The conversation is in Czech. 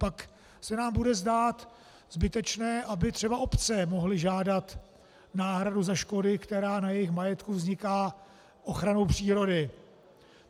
Pak se nám bude zdát zbytečné, aby třeba obce mohly žádat náhradu za škody, která na jejich majetku vzniká ochranou přírody.